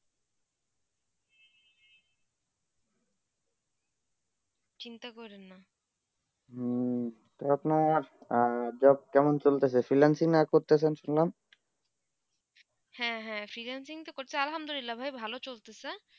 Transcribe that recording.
চিন্তা করুন না হম তো আপনার job কেমন চলতে চে freelancing আর করতেছে শুনলাম হেঁ হেঁ freelancing তো করতি ভালো চলতে চে